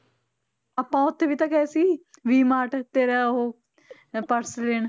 ਆਪਾਂ ਉੱਥੇ ਵੀ ਤਾਂ ਗਏ ਸੀ ਵੀ ਮਾਰਟ ਤੇਰਾ ਉਹ ਇਹ ਪਰਸ ਲੈਣ